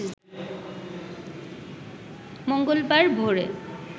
মঙ্গলবার ভোরে